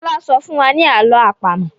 Fola sọfún wá ní àlọ́ àpamọ̀.